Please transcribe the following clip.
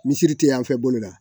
Misiri tɛ yan fɛ bolo la